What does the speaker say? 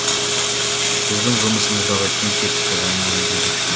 біздің жұмысымыздағы кем кетікті оның өзі де жетік біл